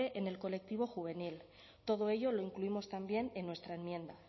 en el colectivo juvenil todo ello lo incluimos también en nuestra enmienda